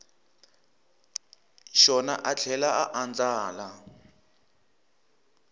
xona a tlhela a andlala